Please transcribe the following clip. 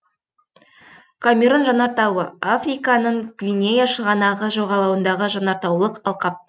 камерун жанартауы африканың гвинея шығанағы жағалауындағы жанартаулық алқап